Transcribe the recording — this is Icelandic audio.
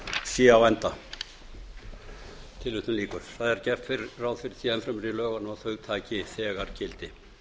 sé á enda það er gert ráð fyrir því enn fremur í lögunum að þau taki þegar gildi